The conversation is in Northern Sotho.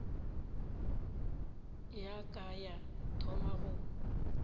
ya ka ya thoma go